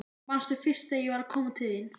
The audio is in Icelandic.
Manstu fyrst þegar ég var að koma til þín?